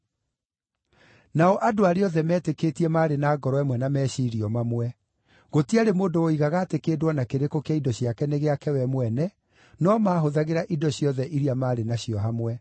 Nao andũ arĩa othe meetĩkĩtie maarĩ na ngoro ĩmwe na meciiria o mamwe. Gũtiarĩ mũndũ woigaga atĩ kĩndũ o na kĩrĩkũ kĩa indo ciake nĩ gĩake we mwene, no maahũthagĩra indo ciothe iria maarĩ nacio hamwe.